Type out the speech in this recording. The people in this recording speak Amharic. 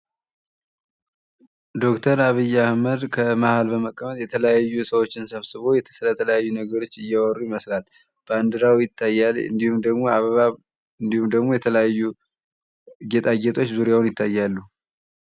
ዶክተር አብይ አህመድ ከመሃል በመቀመጥ የተለያዩ ሰዎችን ሰብስቦ ስለተለያዩ ነገሮች እያወሩ ይመስላል ባንዲራው ይታያል እንዲሁም ደሞ አበባ እንዲሁም ደግሞ የተለያዩ ጌጣጌጦች ዙሪያውን ይታያሉ።